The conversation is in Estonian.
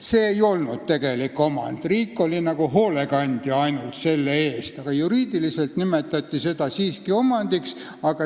See ei olnud tegelik riigi omand, riik oli ainult nagu hoolekandja, aga juriidiliselt nimetati seda siiski riigi omandiks.